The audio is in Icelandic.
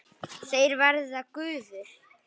Þeir verða gufur.